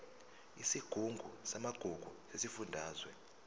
isigungu samagugu sesifundazwe